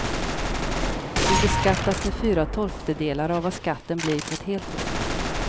Du beskattas med fyra tolftedelar av vad skatten blir på ett helt år.